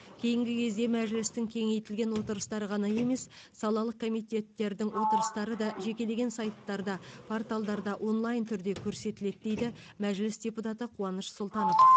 кейінгі кезде мәжілістің кеңейтілген отырыстары ғана емес салалық комитеттердің отырыстары да жекелеген сайттарда порталдарда онлайн түрде көрсетіледі дейді мәжіліс депутаты қуаныш сұлтанов